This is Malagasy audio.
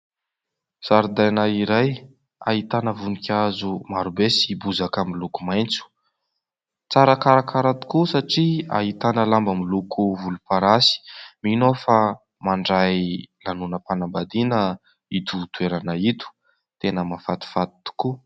Zaridaina iray ahitana voninkazo maro be sy bozaka miloko maitso. Tsara karakara tokoa satria ahitana lamba miloko volomparasy. Mino aho fa mandray lanonam-panambadiana ito toerana ito, tena mahafatifaty tokoa.